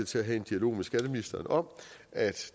til at have en dialog med skatteministeren om at